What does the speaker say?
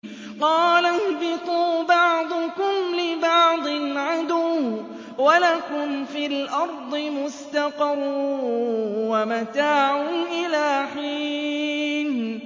قَالَ اهْبِطُوا بَعْضُكُمْ لِبَعْضٍ عَدُوٌّ ۖ وَلَكُمْ فِي الْأَرْضِ مُسْتَقَرٌّ وَمَتَاعٌ إِلَىٰ حِينٍ